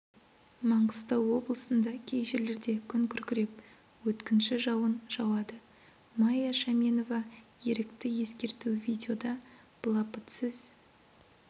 маңғыстау облысында кей жерлерде күн күркіреп өткінші жауын жауады майя шәменова ерікті ескерту видеода былапыт сөз